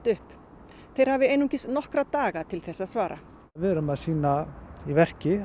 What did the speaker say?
upp þeir hafi einungis nokkra daga til þess að svara við erum að sýna í verki